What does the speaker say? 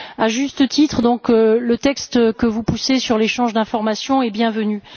À juste titre, donc, le texte que vous poussez sur l'échange d'informations est bienvenu.